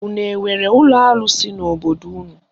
Unu enwere ụlọ arụsị n'obodo unu?